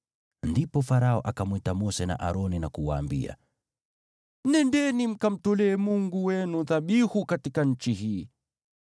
Ndipo Farao akamwita Mose na Aroni na kuwaambia, “Nendeni mkamtolee Mungu wenu dhabihu katika nchi hii.”